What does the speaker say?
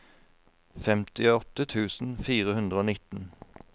femtiåtte tusen fire hundre og nitten